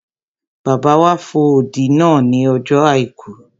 Bàbá wa fo odi náà ní ọjọ́ àìkú